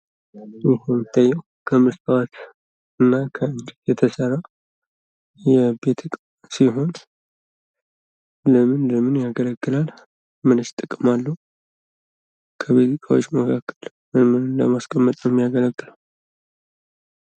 ይህ የሚታየው ከመስታወትእና ከእንጨት የተሰራ የቤት ዕቃ ሲሆን ይህ ለምን ለምን ያገለግላል ምንስ ጥቅም አለው ከቤት እቃዎች መካከል ምንን ለማስቀመጥ ያገለግላል ?